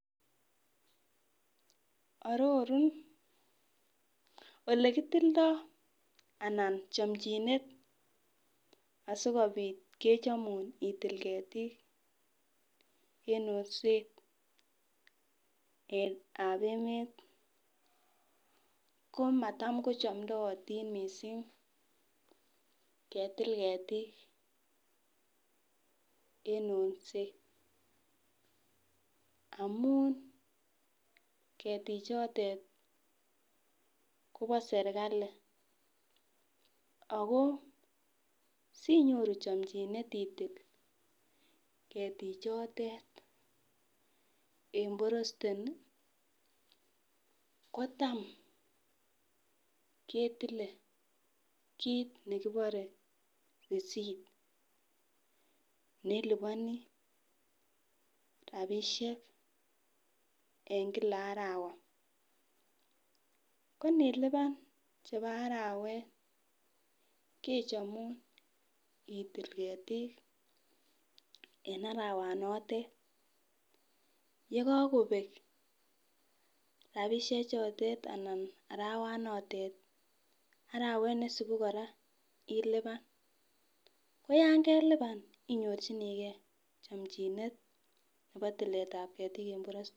Orurun ole kitildo ana chomchinet asikopit kechomu itil ketik en osnetab emet komatam kochomdotin missing ketil ketik en onset amun ketik chotet Kobo sirkali Ako sinyoru chomchinet itil ketik chotet en boreste kotam ketile kit nekibore resipt neiliponi rabishek en Kila arawa, ko nilipan en Kila arawet kechomu itil ketik en arawa notet. Yekokobek rabishek chotet anan arawa notet arawet nesibu koraa ilipan ko yon kelipan inyorchinigee chomchinet nebo tuletab ketik en boreste.